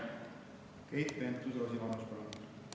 Keit Pentus-Rosimannus, palun!